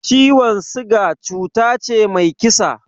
Ciwon siga cuta ce mai kisa